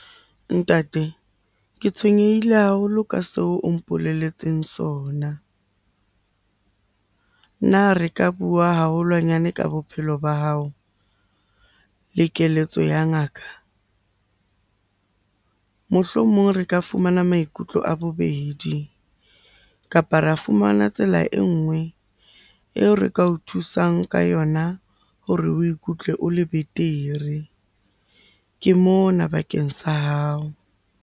Ntate, ke tshwenyehile haholo ka seo o mpolelletseng sona. Na re ka bua haholwanyane ka bophelo ba hao le keletso ya ngaka? Mohlomong re ka fumana maikutlo a bobedi, kapa ra fumana tsela e nngwe eo re ka o thusang ka yona hore o ikutlwe o le betere. Ke mona bakeng sa hao.